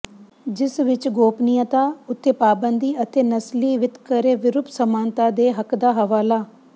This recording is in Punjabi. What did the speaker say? ਜਿਸ ਵਿਚ ਗੋਪਨੀਯਤਾ ਉੱਤੇ ਪਾਬੰਦੀ ਅਤੇ ਨਸਲੀ ਵਿਤਕਰੇ ਵਿਰੁੱਧ ਸਮਾਨਤਾ ਦੇ ਹੱਕ ਦਾ ਹਵਾਲਾ